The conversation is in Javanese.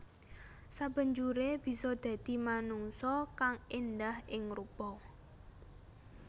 Sabanjuré bisa dadi manungsa kang èndah ing rupa